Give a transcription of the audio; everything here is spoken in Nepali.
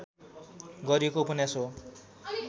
गरिएको उपन्यास हो